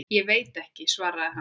Ég veit ekki, svaraði hann.